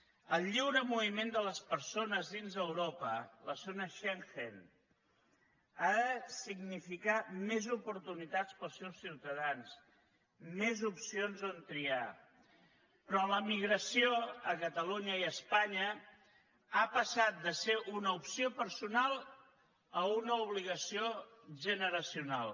el lliure moviment de les persones dins d’europa la zona schengen ha de significar més oportunitats per als seus ciutadans més opcions on triar però l’emigració a catalunya i a espanya ha passat de ser una opció personal a una obligació generacional